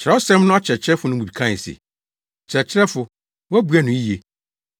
Kyerɛwsɛm no akyerɛkyerɛfo no mu bi kae se, “Kyerɛkyerɛfo, woabua no yiye.”